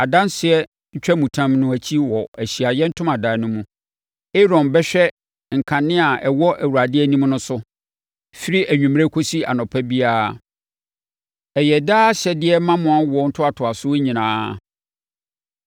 adanseɛ ntwamutam no akyi wɔ Ahyiaeɛ Ntomadan no mu, Aaron bɛhwɛ nkanea a ɛwɔ Awurade anim no so, firi anwummerɛ kɔsi anɔpa biara. Ɛyɛ daa ahyɛdeɛ ma mo awoɔ ntoatoasoɔ nyinaa.